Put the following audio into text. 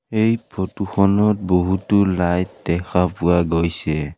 এই ফটোখনত বহুতো লাইট দেখা পোৱা গৈছে।